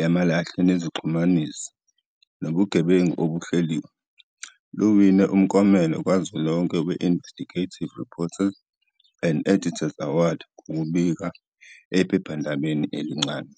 yamalahle nezixhumanisi nobugebengu obuhleliwe, luwine umklomelo kazwelonke we-Investigative Reporters and Editors Award ngokubika ephephandabeni elincane.